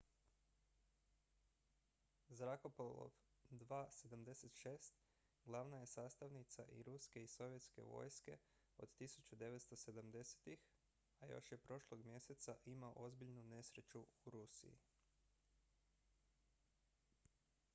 zrakoplov il-76 glavna je sastavnica i ruske i sovjetske vojske od 1970-ih a još je prošlog mjeseca imao ozbiljnu nesreću u rusiji